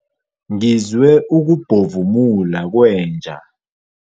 Ngizwe ukubhovumula kwenja.